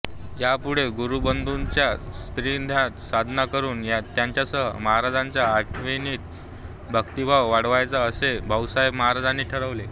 यापुढे गुरुबंधूंच्या सान्निध्यात साधना करून त्यांच्यासह महाराजांच्या आठवणीत भक्तिभाव वाढवायचा असे भाऊसाहेब महाराजांनी ठरवले